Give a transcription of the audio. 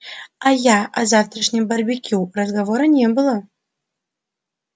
а я о завтрашнем барбекю разговора не было